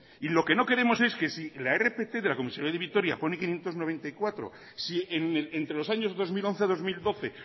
y lo que no queremos es que si la rpt de la comisaría de vitoria pone quinientos noventa y cuatro si entre los años dos mil once dos mil doce